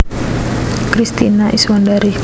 Kristina Iswandari